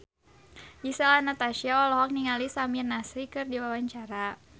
Gisel Anastasia olohok ningali Samir Nasri keur diwawancara